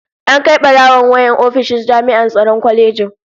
An Kai barawon wayar ofishin jami'an tsaron kwalejin